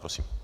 Prosím.